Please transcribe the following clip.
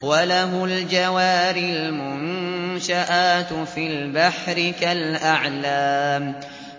وَلَهُ الْجَوَارِ الْمُنشَآتُ فِي الْبَحْرِ كَالْأَعْلَامِ